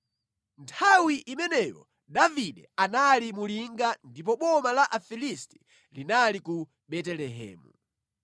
Nthawi imeneyo Davide anali mu linga, ndipo boma la Afilisti linali ku Betelehemu.